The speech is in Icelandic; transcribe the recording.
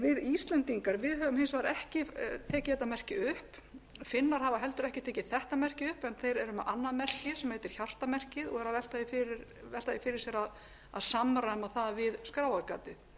við íslendingar höfum hins vegar ekki tekið þetta merki upp finnar hafa heldur ekki tekið þetta merki upp en þeir eru með annað merki sem heitir hjartamerkið og eru að velta því fyrir sér að samræma það við skráargatið